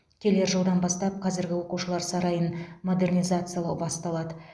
келер жылдан бастап қазіргі оқушылар сарайын модернизациялау басталады